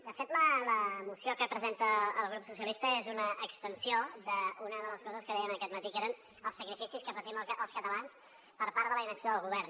de fet la moció que presenta el grup socialistes és una extensió d’una de les coses que dèiem aquest matí que eren els sacrificis que patim els catalans per part de la inacció del govern